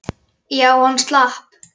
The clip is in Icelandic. Já, hann slapp.